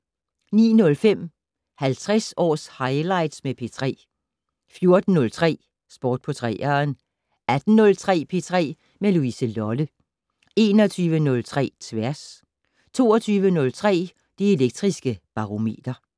09:05: 50 års highlights med P3 14:03: Sport på 3'eren 18:03: P3 med Louise Lolle 21:03: Tværs 22:03: Det Elektriske Barometer